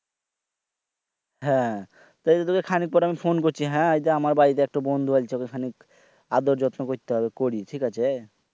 হ্যাঁ ওই তোকে খানিক পরে phone করছি হ্যাঁ এইডা আমার বাড়িতে একটা বন্ধু আলছে ওকে খানিক আদর যত্ন করতে হবে করি ঠিক আছে